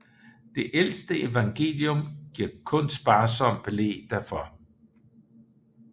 Det ældste evangelium giver kun sparsom belæg derfor